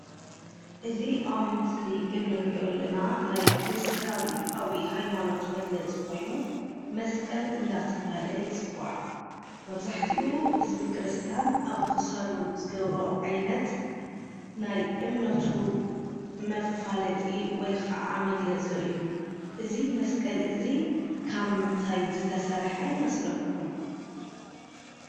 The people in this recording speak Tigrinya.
እዚ ኣብ ምስሊ ንሪኦ ዘለና ናይ ክርስቲያናዊ ሃይማኖት መግለፂ ኮይኑ መስቀል እናተባህለ ይፅዋዕ፡፡ መብዛሕትኡ ህዝበ ክርስቲያን ኣብ ክሳዱ ዝገብሮ ዓይነት ናይ እምነቱ መፋለጢ ወይ ከዓ መግለፂ እዩ፡፡ እዚ መስቀል እዚ ካብ ምንታይ ዝተሰርሐ ይመስለኩም?